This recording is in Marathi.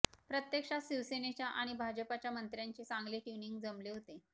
प्रत्यक्षात शिवसेनेच्या आणि भाजपाच्या मंत्र्यांचे चांगले ट्युनिंग जमले होते